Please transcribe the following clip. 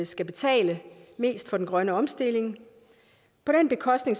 skal betale mest for den grønne omstilling på den bekostning